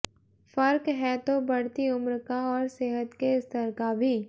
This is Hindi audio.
फर्क है तो बढ़ती उम्र का और सेहत के स्तर का भी